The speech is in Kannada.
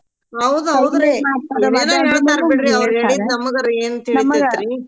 ಹೌದ ಹೌದ್ರಿ ಅವ್ರ ಹೇಳಿದ್ದ್ ನಮ್ಗರ ಏನ್ ತಿಳಿತೇತ್ರೀ